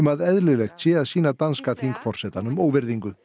að eðlilegt sé að sýna danska þingforsetanum óvirðingu